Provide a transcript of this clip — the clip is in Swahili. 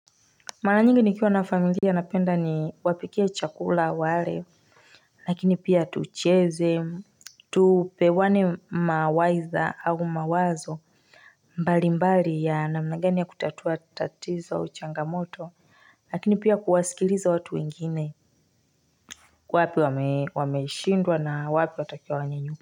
Mara nyingi nikiwa na familia napenda ni wapikie chakula wale Lakini pia tucheze Tupewane mawaitha au mawazo mbali mbali ya namna gani ya kutatua tatizo au changamoto Lakini pia kuwasikiliza watu wengine Kwa wapi wameshindwa na wapi watakia wanyanyuke.